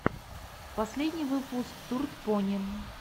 последний выпуск турд пони